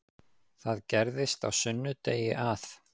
Það gerðist á sunnudegi að